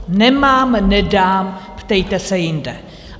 Nemám, nedám, ptejte se jinde.